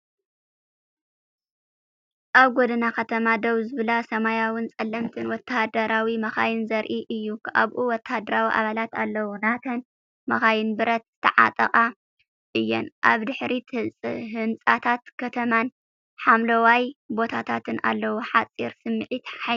ኣብ ጎደና ከተማ ደው ዝብላ ሰማያውን ጸለምትን ወተሃደራዊ መካይን ዘርኢ እዩ። ኣብኡ ወተሃደራዊ ኣባላት ኣለው። እተን መካይን ብረት ዝተዓጠቓ እየን። ኣብ ድሕሪት ህንጻታት ከተማን ሓምለዋይ ቦታታትን ኣለዉ። ሓጺር ስምዒት፡ ሓይሊ!